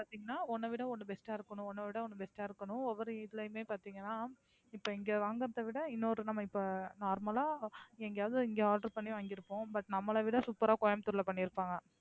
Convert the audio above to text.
அப்படின்னா ஒண்ணை விட ஒண்ணு best ஆ இருக்கணும் ஒண்ணை விட ஒண்ணு best ஆ இருக்கணும் ஒவ்வொரு இதுலையுமே பாத்தீங்கன்னா இப்ப இங்க வாங்குறதைவிட இன்னொரு நம்ம இப்ப normal ஆ எங்கயாவது இங்க order பண்ணி வாங்கிருப்போம் but நம்மளை விட super ஆ கோயம்பத்தூர்ல பண்ணிருப்பாங்க.